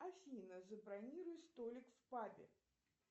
афина забронируй столик в пабе